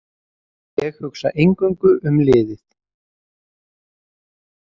Ég hugsa eingöngu um liðið.